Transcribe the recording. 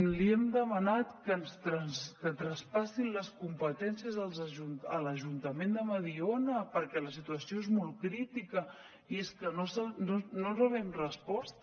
li hem demanat que ens traspassin les competències a l’ajuntament de mediona perquè la situació és molt crítica i és que no rebem resposta